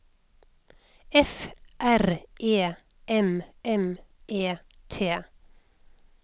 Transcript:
F R E M M E T